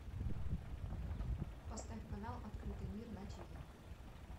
поставь канал открытый мир на тиви